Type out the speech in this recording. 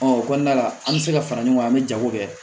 Ɔ o kɔnɔna la an bɛ se ka fara ɲɔgɔn kan an bɛ jago kɛ